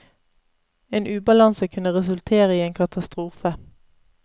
En ubalanse kunne resultere i en katastrofe.